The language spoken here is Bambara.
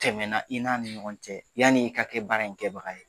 Tɛmɛna i n'a ni ɲɔgɔn cɛ yani i ka kɛ baara in kɛbaga ye.